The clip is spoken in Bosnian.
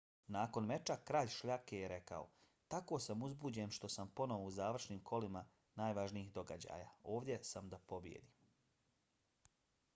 nakon meča kralj šljake je rekao: tako sam uzbuđen što sam ponovo u završnim kolima najvažnijih događaja. ovdje sam da pobijedim.